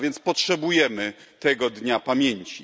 A więc potrzebujemy tego dnia pamięci.